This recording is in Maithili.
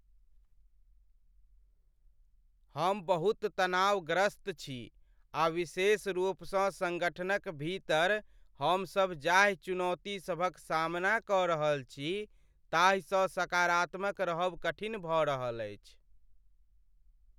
हम बहुत तनावग्रस्त छी आ विशेष रूपसँ सङ्गठनक भीतर हमसभ जाहि चुनौति सभक सामना कऽ रहल छी ताहिसँ सकारात्मक रहब कठिन भऽ रहल अछि।